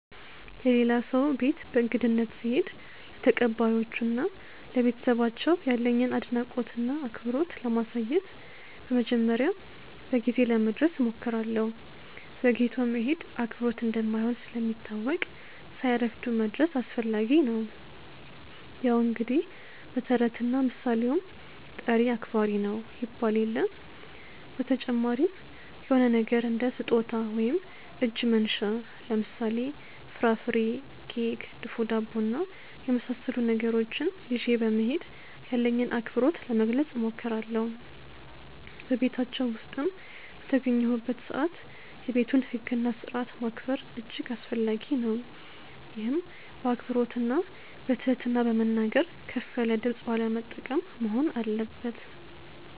የሌላ ሰው ቤት በእንግድነት ስሄድ ለተቀባዮቹ እና ለቤተሰባቸው ያለኝን አድናቆት እና አክብሮት ለማሳየት በመጀመሪያ በጊዜ ለመድረስ እሞክራለሁ። ዘግይቶ መሄድ አክብሮት እንደማይሆን ስለሚታወቅ ሳያረፍዱ መድረስ አስፈላጊ ነው። ያው እንግዲህ በተረትና ምሣሌውም "ጠሪ አክባሪ ነው" ይባል የለ። በተጨማሪም የሆነ ነገር እንደ ስጦታ ወይም እጅ መንሻ ለምሳሌ፦ ፍራፍሬ፣ ኬክ፣ ድፎ ዳቦ እና የመሣሠሉ ነገሮችን ይዤ በመሄድ ያለኝን አክብሮት ለመግለጽ እሞክራለሁ። በቤታቸው ውስጥም በተገኘሁበት ሰዓት የቤቱን ህግ እና ስርዓት ማክበር እጅግ አስፈላጊ ነው፤ ይህም በአክብሮትና በትህትና በመናገር፣ ከፍ ያለ ድምፅ ባለመጠቀም መሆን አለበት።